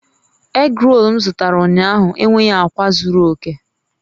Egrol m zụtara ụnyaahụ enweghị akwa zuru oke